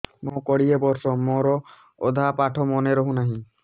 ମୋ କୋଡ଼ିଏ ବର୍ଷ ମୋର ଅଧା ପାଠ ମନେ ରହୁନାହିଁ